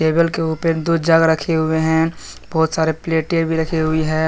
Table के उपर दो जग रखे हुए हैं बहोत सारे प्लेटें भी रखी हुई है।